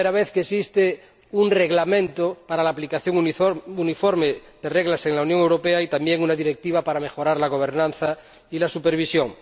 Es la primera vez que existe un Reglamento para la aplicación uniforme de reglas en la Unión Europea y también una Directiva para mejorar la gobernanza y la supervisión.